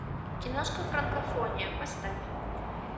киношка франкофония поставь